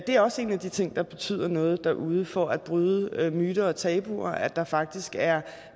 er også en af de ting der betyder noget derude for at bryde myter og tabuer altså at der faktisk er